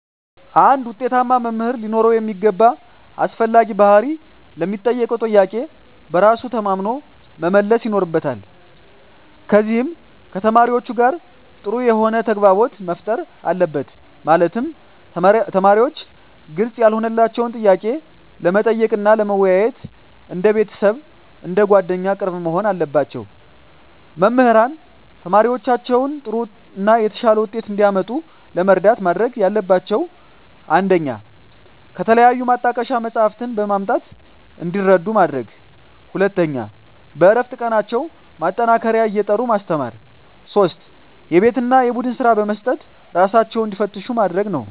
አንድ ውጤታማ መምህር ሊኖረው የሚገባ አስፈላጊ ባህሪ ለሚጠየቀው ጥያቄ በራሱ ተማምኖ መመለስ ይኖርበታል ከዚም ከተማሪዎቹ ጋር ጥሩ የሆነ ተግባቦት መፍጠር አለበት ማለትም ተማሪዎች ግልጽ ያልሆነላቸውን ጥያቄ ለመጠየቅ እና ለመወያየት እንደ ቤተሰብ አንደ ጓደኛ ቅርብ መሆን አለባቸው። መምህራን ተማሪዎቻቸውን ጥሩ እና የተሻለ ውጤት እንዲያመጡ ለመርዳት ማድረግ ያለባቸው 1 ከተለያዩ ማጣቀሻ መፅሃፍትን በማምጣት እንዲረዱ ማድረግ 2 በእረፍት ቀናቸው ማጠናከሪያ እየጠሩ ማስተማር 3 የቤት እና የቡድን ስራ በመስጠት እራሳቸውን እንዲፈትሹ ማድረግ ነው